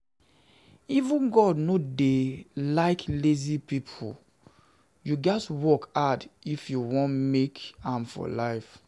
Even God no dey like lazy people, you gats work hard if you wan make am in life